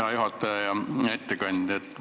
Hea juhataja ja ettekandja!